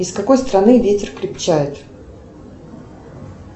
из какой страны ветер крепчает